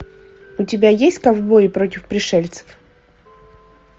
у тебя есть ковбои против пришельцев